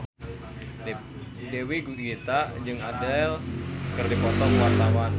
Dewi Gita jeung Adele keur dipoto ku wartawan